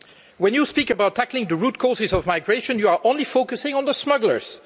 When you speak about tackling the root causes of migration, you are only focusing on the smugglers.